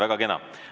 Väga kena.